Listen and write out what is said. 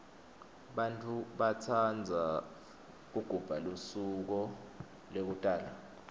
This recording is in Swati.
bantfu batsandza kugubha lusuko lekutalwa